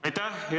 Aitäh!